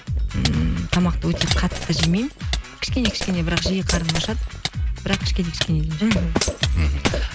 ммм тамақты өте қатты жемеймін кішкене кішкене бірақ жиі қарным ашады бірақ кішкене кішкене мхм